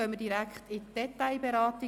Danach erfolgt die Detailberatung.